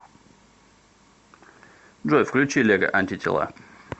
джой включи лего антитела